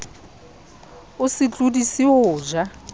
o se tlodise ho ja